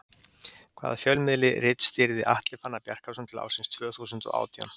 Hvaða fjölmiðli ritstýrði Atli Fannar Bjarkason til ársins tvö þúsund og átján?